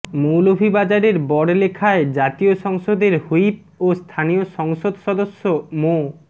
মৌলভীবাজারের বড়লেখায় জাতীয় সংসদের হুইপ ও স্থানীয় সংসদ সদস্য মো